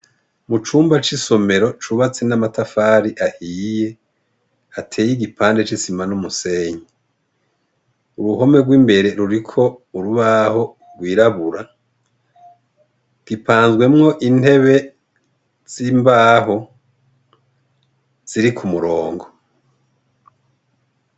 Mu cumba c'isomero cubatse n'amatafari ahiye ateye igipande c'isima n'umusenyi uruhome rw'imbere ruriko urubaho rwirabura gipanzwemwo intebe z'imbaho ziri ku murongo .